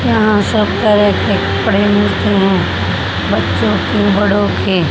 यहां सब तरह के कपड़े मिलते हैं बच्चों के बड़ों के--